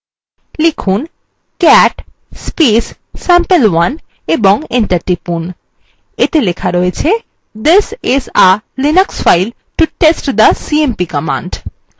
লিখুন cat sampe1 এবং enter টিপুন এতে লেখা রয়েছে this is a linux file to test the cmp command